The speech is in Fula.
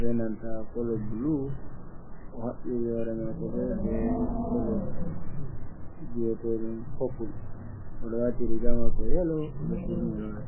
benanta kolo glu o habbiri hore mako be be polo biyetedum popul odo wati riga mako yelo odoturni hore.